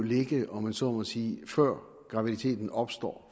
ligge om man så må sige før graviditeten opstår